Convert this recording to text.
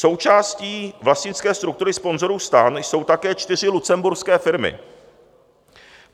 Součástí vlastnické struktury sponzorů STAN jsou také čtyři lucemburské firmy.